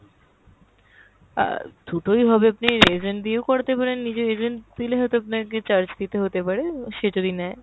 অ্যাঁ দুটোই হবে, আপনি agent দিয়েও করাতে পারেন, নিজের agent নিলে হয়তো আপনাকে charge দিতে হতে পারে, সে যদি নেয়।